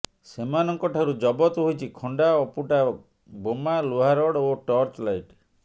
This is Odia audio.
ସେମାନଙ୍କଠାରୁ ଜବତ ହୋଇଛି ଖଣ୍ଡା ଅଫୁଟା ବୋମା ଲୁହାରଡ଼ ଓ ଟର୍ଚ୍ଚ ଲାଇଟ